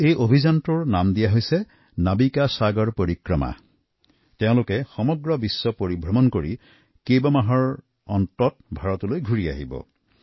এই অভিযানৰ নাম দিয়া হৈছে নাবিকা সাগৰ পৰিক্ৰমা আৰু তেওঁলোকে সমগ্ৰ বিশ্ব ভ্ৰমণ সামৰি কেইবামাহৰ পাছত ভাৰত পাবহি